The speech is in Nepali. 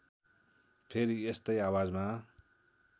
फेरि यस्तै आवाजमा